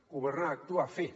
governar actuar fer